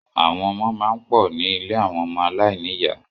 Àwọn ọmọ máa ń pò ní ilé àwọn ọmọ aláìníyà.